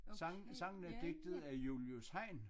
Sangen sangen er digtet af Julius Hejn